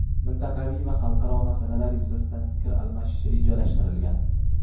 mintaqaviy va xalqaro masalalar yuzasidan fikr almashish rejalashtirilgan.